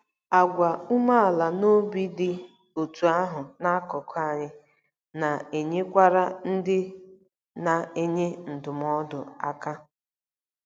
Àgwà umeala n'obi dị otú ahụ n'akụkụ anyị na-enyekwara ndị na-enye ndụmọdụ aka.